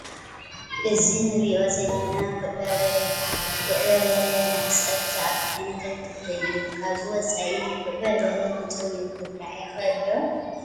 እዚ ንሪኦ ዘለና ጉዕ በርበረ ይበሃል፡፡ ጉዕ በርበረ ናብ ፀብሒ ዝኣቱ ዓይነት ኣትኽልቲ እዩ፡፡ ካብዚ ወፃኢ ጉዕ በርበረ ብጥሪኡ ክብላዕ ይኽእል ዶ?